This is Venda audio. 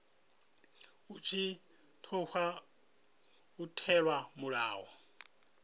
hu tshi tkhou itelwa mulayo